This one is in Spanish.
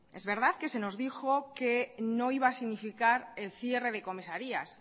es verdad que se nos dijo que no iba a significar el cierre de comisarías